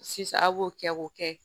Sisan a' b'o kɛ k'o kɛ